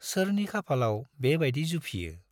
सोरनि खाफालाव बे बाइदि जुफियो !